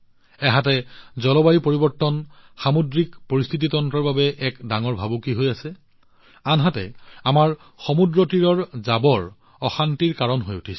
আনহাতে জলবায়ু পৰিৱৰ্তন সামুদ্ৰিক পৰিস্থিতিতন্ত্ৰৰ বাবে এক ডাঙৰ ভাবুকি হৈ পৰিছে আনহাতে আমাৰ সমুদ্ৰতীৰৰ আৱৰ্জনাবোৰে আমাক বিচলিত কৰি তুলিছে